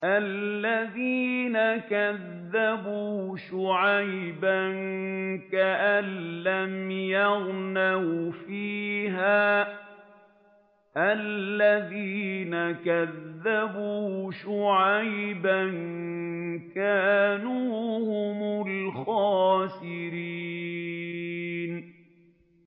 الَّذِينَ كَذَّبُوا شُعَيْبًا كَأَن لَّمْ يَغْنَوْا فِيهَا ۚ الَّذِينَ كَذَّبُوا شُعَيْبًا كَانُوا هُمُ الْخَاسِرِينَ